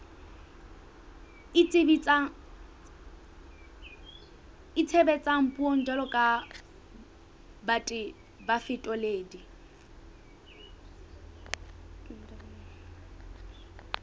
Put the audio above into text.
itshebetsang puong jwalo ka bafetoledi